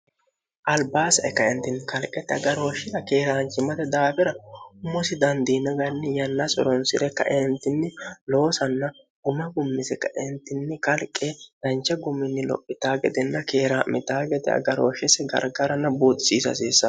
albaasae kaeentinni kalqeti agarooshshira keeraanchimate daabira umosi dandiina ganni yanna suronsi're kaeentinni loosanna uma gummise kaeentinni kalqe dancha gumini lophita gedinna keeraa'mitaa gede agarooshshisi gargarana buutisiisa hasiissan